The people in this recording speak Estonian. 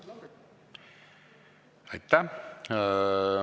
Aitäh!